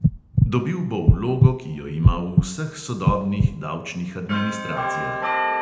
Dobil bo vlogo, ki jo ima v vseh sodobnih davčnih administracijah.